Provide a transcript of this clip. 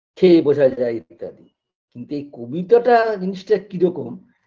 খেয়ে বোঝা যায় ইত্যাদি কিন্তু এই কবিতাটা জিনিসটা কিরকম